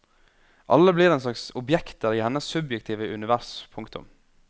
Alle blir en slags objekter i hennes subjektive univers. punktum